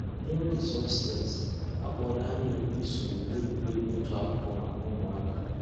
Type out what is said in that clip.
N'ǒgè solsticecs], a kpọ̀rọ̀ ànyị̀ òkù ìsọǹyé n'ègwè́ré́gwụ̀ ịchụ̀ àkụ̀kwò mǎká ǔ́mụ̀àkà.